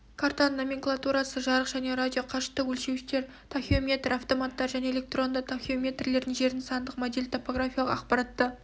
картаның номенклатурасы жарық және радио қашықтық өлшеуіштер тахеометр-автоматтар және электронды тахеометрлер жердің сандық моделі топографиялық ақпаратты